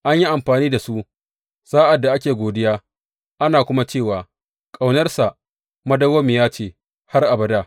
An yi amfani da su sa’ad da ake godiya, ana kuma cewa, Ƙaunarsa dawwammamiya ce har abada.